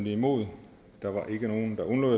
imod